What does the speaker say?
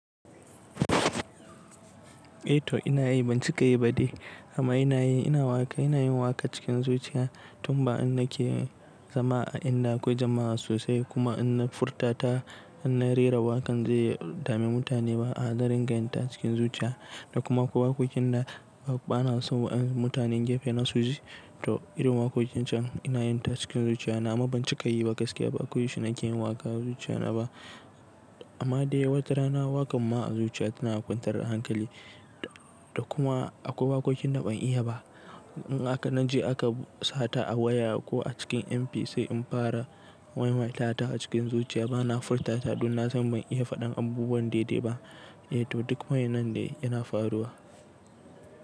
Eh to inayi bancika yi ba dai amma ina yi ina waƙa ina yin waƙa cikin zuciya tun ba an nake zama a inda akwai jama'a sosai kuma in na furta ta in na rera wakan zai dame mutane ba a na ringa yin ta cikin zuciya da kuma ko wakokin da banaso wa'a mutanen gefe na suji to irin wakokin can ina yin ta cikin zuciya nima bancika yi ba gaskiya ba akwai shi nake yin waƙa a zuciya na ba amma dai wata rana waƙan ma a zuciya tana kwantar da hankali da kuma akwai wakokin da ban iya ba in haka na je aka sata a waya ko a cikin MP sai in fara maimaita ta a cikin zuciya bana furta ta don na san ban iya faɗin abubuwan daidai ba eh to duk wa'yannan dai yana faruwa.